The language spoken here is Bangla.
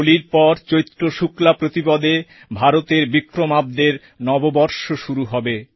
হোলির পর চৈত্র শুক্লাপ্রতিপদে ভারতের বিক্রমাব্দের নববর্ষ শুরু হয়ে যাবে